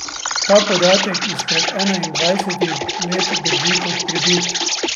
Ta podatek izpred enaindvajsetih let drži kot pribit.